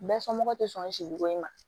Bɛɛ somɔgɔw tɛ sɔn si buge ma